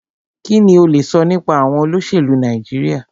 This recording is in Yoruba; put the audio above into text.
Kínní o lè sọ nípa àwọn olóṣèlú Nàìjíríà?